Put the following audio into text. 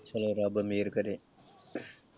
ਚੱਲੋ ਰੱਬ ਮੇਹਰ ਕਰੇ।